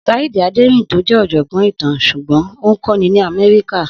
Saheed Aderinto jẹ́ ọ̀jọ̀gbọ́n ìtàn ṣùgbọ́n ó ń kọ́ni ní America.